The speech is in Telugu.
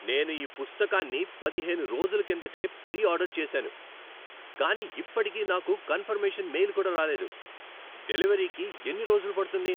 నేను ఈ పుస్తకాన్ని పదిహేను రోజుల కిందటే ప్రీ ఆర్డర్ చేసాను కానీ ఇప్పటికీ నాకు కన్ఫర్మేషన్ మెయిల్ కూడా రాలేదు. డెలివరీకి ఎన్ని రోజులు పడుతుంది?